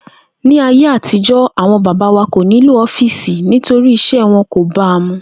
Ní ayé àtijo̩, àwo̩n bàbá wa kò nílò ó̩fíìsì nítorí is̩é̩ wo̩n kò ba mu